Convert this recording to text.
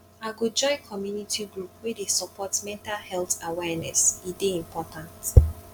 i go join community group wey dey support mental health awareness e dey important